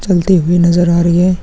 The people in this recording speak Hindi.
चलते हुए नजर आ रहे है |--